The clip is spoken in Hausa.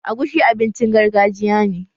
Agushi abincin gargajiya ne